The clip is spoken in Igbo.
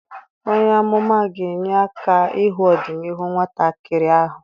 Onye amụma ga-enye aka ịhụ ọdịnihu nwata kịrị ahụ.